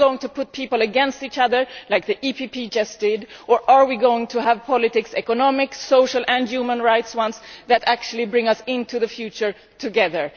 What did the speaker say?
Are we going to turn people against each other as the PPE just did or are we going to have politics, economics, social and human rights that actually bring us into the future together?